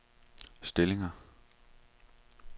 stillinger